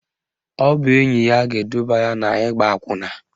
Ọ bụ enyi ya ga-eduba ya n'ịgba akwụna